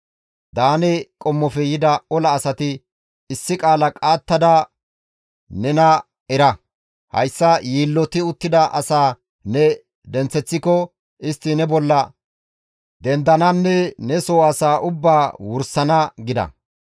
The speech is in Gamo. Daane qommofe yida ola asati, «Issi qaala qaattada nena era! Hayssa yiilloti uttida asaa ne denththeththiko, istti ne bolla dendananne ne soo asaa ubbaa wursana» gida.